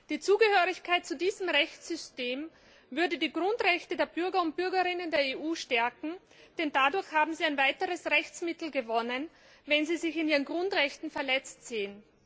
Die Zugehörigkeit zu diesem Rechtssystem würde die Grundrechte der Bürgerinnen und Bürger der EU stärken, denn dadurch haben sie ein weiteres Rechtsmittel gewonnen, wenn sie sich in ihren Grundrechten verletzt sehen.